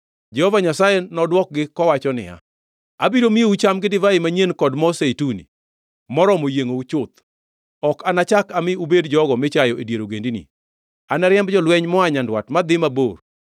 Jehova Nyasaye nodwokgi kowacho niya, “Abiro miyou cham gi divai manyien kod mo zeituni, moromo yiengʼou chuth; ok anachak ami ubed jogo michayo e dier ogendini.